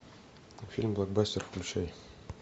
фильм блокбастер включай